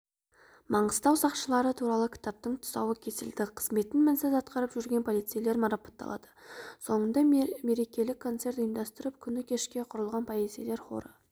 маңғыстау сақшылары туралы кітаптың тұсауы кесілді қызметін мінсіз атқарып жүрген полицейлер марапатталады соңында мерекелік концерт ұйымдастырылып күні кеше құрылған полицейлер хоры